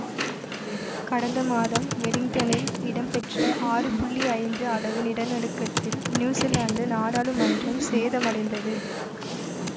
கடந்த மாதம் வெலிங்டனில் இடம்பெற்ற ஆறு புள்ளி ஐந்து அளவு நிலநடுக்கத்தில் நியூசிலாந்து நாடாளுமன்றம் சேதமடைந்தது